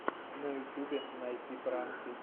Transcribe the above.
на ютубе найти пранки